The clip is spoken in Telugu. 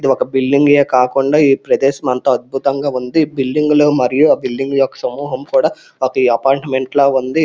ఇది ఒక బిల్డింగే కాకుండా ఈ ప్రదేశం అంతా అద్భుతంగా ఉంది ఈ బిల్డింగ్ లే మరియు ఆ బిల్డింగ్ యొక్క సమూహం కూడా ఒక అపార్ట్మెంట్ లా ఉంది.